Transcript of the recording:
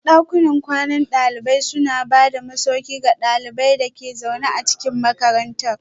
Dakunan kwanan dalibai suna ba da masauki ga ɗaliban da ke zaune a cikin makarantar